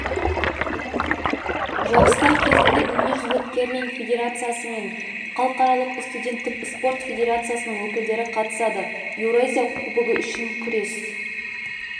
жарыстар кезінде дүниежүзілік керлинг федерациясы және халықаралық студенттік спорт федерациясының өкілдері қатысады еуразия кубогы үшін күрес